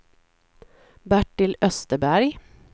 Bertil Österberg